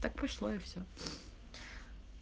так пошло и всё